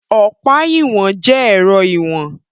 Ọ̀pá ìwọ̀n jẹ ẹrọ ìwọ̀n.